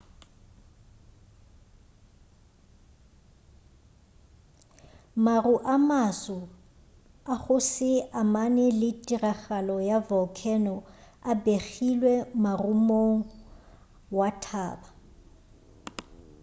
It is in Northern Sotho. maru a maso a go se amane le tiragalo ya volcano a begilwe morumong wa thaba